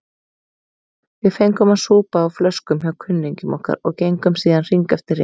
Við fengum að súpa á flöskum hjá kunningjum okkar og gengum síðan hring eftir hring.